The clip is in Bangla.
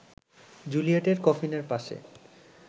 জুলিয়েটের কফিনের পাশে